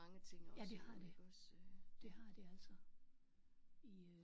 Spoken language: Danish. Ja det har det. Det har det altså. I øh